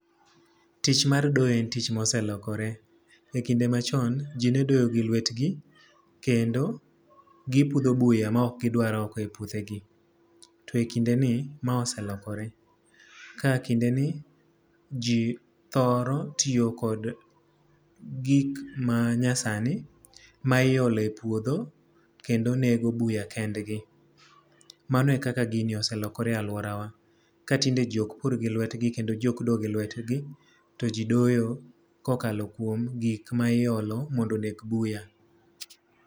Tich mar doyo en tich ma oselokore. E kinde machon, ji ne doyo gi lwetgi, kendo gipudho buya ma okgidwar oko e puothe gi. To e kinde ni ma oselokore. Ka kindeni, ji thoro tiyo kod gik ma nyasani, ma iole puodho kendo nego buya kendgi. Mano e ka gini oselokore e alworawa. Ka tinde ji okpur gi lwetgi, kendo ji ok do gi lwetgi, to ji doyo kokalo kuom gik ma iolo mondo oneg buya.